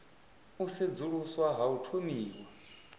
u sedzuluswa ha u thomiwa